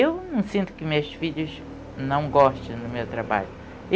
Eu não sinto que meus filhos não gostem do meu trabalho.